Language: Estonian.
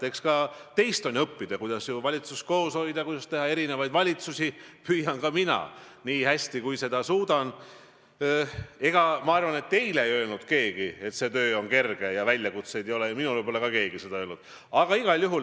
Sellest täiesti lahus on küsimus, kas prokuratuur või ka kohtud, kohtute erinevad astmed, kohtunike spetsiifilised üksikotsused on õiglased, mõõdavad kõiki inimesi täpselt sama standardi järgi ja on kallutamatud, teenivad selgelt ainult seadust ja õiglust.